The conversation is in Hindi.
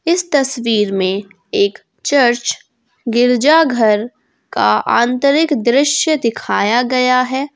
इस तस्वीर में एक चर्च गिरजाघर का आंतरिक दृश्य दिखाया गया है।